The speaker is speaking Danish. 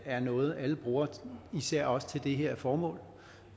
er noget alle bruger især også til det her formål